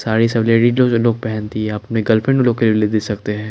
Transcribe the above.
साड़ी सब लेडिज जो लोग पहनती हैं अपने गर्लफ्रेंड लोग के लिए भी ले दे सकते है।